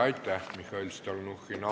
Aitäh, Mihhail Stalnuhhin!